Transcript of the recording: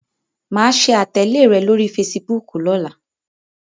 Màá ṣe àtẹ̀lé rẹ lórí fesibúùkù lọ́la.